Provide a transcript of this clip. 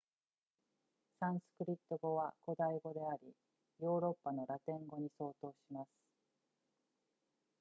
サンスクリット語は古代語でありヨーロッパのラテン語に相当します